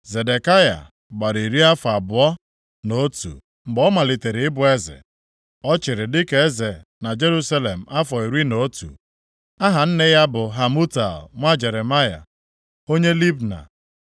Zedekaya gbara iri afọ abụọ na otu mgbe ọ malitere ịbụ eze. Ọ chịrị dị ka eze na Jerusalem afọ iri na otu. Aha nne ya bụ Hamutal nwa Jeremaya, onye Libna.